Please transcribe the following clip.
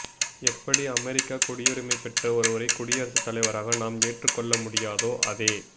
எப்படி அமெரிக்கக் குடியுரிமை பெற்ற ஒருவரைக் குடியரசுத் தலைவராக நாம் ஏற்றுக்கொள்ள முடியாதோ அதே